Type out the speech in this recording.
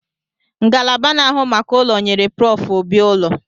Ngalaba na-ahụ maka ụlọ nyere Prof Obi ụlọ